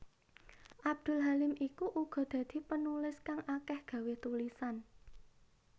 Abdul Halim iku uga dadi penulis kang akeh gawé tulisan